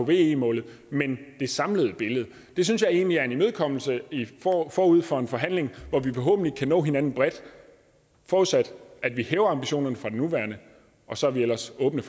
ve målet men det samlede billede det synes jeg egentlig er en imødekommelse forud for en forhandling hvor vi forhåbentlig kan nå hinanden bredt forudsat at vi hæver ambitionen fra den nuværende og så er vi ellers åbne